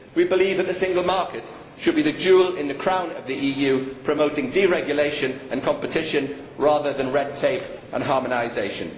We believe that the single market should be the jewel in the crown of the EU, promoting deregulation and competition rather than red tape and harmonisation.